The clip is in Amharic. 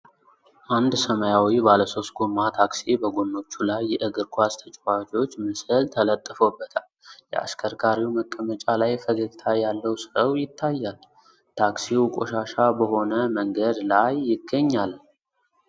አንድ ሰማያዊ ባለሦስት ጎማ ታክሲ በጎኖቹ ላይ የእግር ኳስ ተጫዋቾች ምስል ተለጥፎበታል። የአሽከርካሪው መቀመጫ ላይ ፈገግታ ያለው ሰው ይታያል። ታክሲው ቆሻሻ በሆነ መንገድ ላይ ይገኛል።